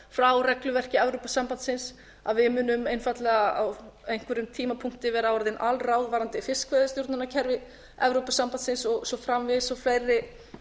frá regluverki evrópusambandsins að við munum einfaldlega á einhverjum tímapunkti vera orðin alráð varðandi fiskveiðistjórnarkerfi evrópusambandsins og svo framvegis og fleiri